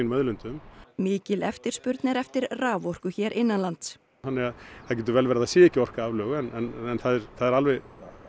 auðlindum mikil eftirspurn er eftir raforku hér innanlands þannig að það getur vel verið að það sé ekki orka aflögu en það er alveg